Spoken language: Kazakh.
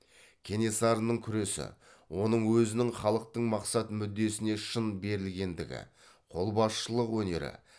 кенесарының күресі оның өзінің халықтың мақсат мүддесіне шын берілгендігі қолбасшылық өнері